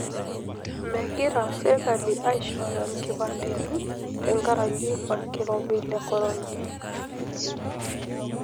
Megira serkali aishooyo nkipandeni tenkaraki olkirobi le korona.